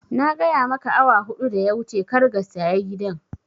Na gaya maka awa huɗu da ya wuce kar ga saya gidan